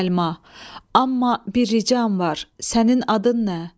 Səlma, amma bir ricam var, sənin adın nə?